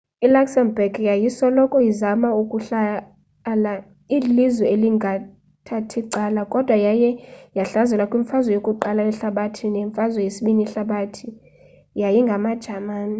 i luxembourg yayisoloko izama ukuhlala ililizwe elingathathi cala kodwa yaye yahlaselwa kwimfazwe yokuqala yehalabathi nemfazwe yesibini yehlabathi yi ngamajamani